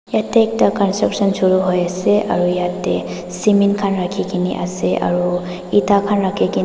yatae ekta construction suru hoiase aro yatae cement khan rakhi kaena ase aru eata khan rakhikina.